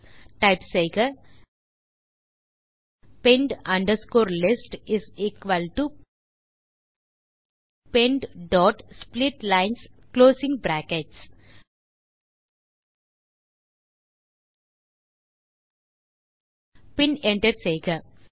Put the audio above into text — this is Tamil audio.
ஆகவே டைப் செய்க pend underscore list is equal to pend dot splitlines closing brackets பின் என்டர் செய்க